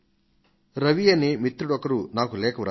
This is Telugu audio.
రవి అనే వ్యక్తి ఒకరు నాకు ఒక లేఖను రాశారు